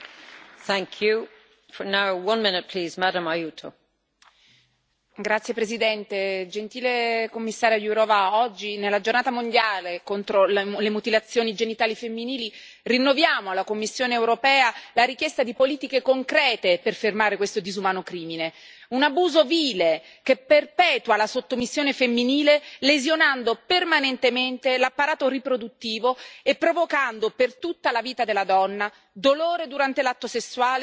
Signora Presidente, onorevoli colleghi, signora Commissario Jourová, oggi, nella giornata mondiale contro le mutilazioni genitali femminili, rinnoviamo alla Commissione europea la richiesta di politiche concrete per fermare questo disumano crimine. Un abuso vile che perpetua la sottomissione femminile lesionando permanentemente l'apparato riproduttivo e provocando, per tutta la vita della donna, dolore durante l'atto sessuale e spesso morte al momento del parto,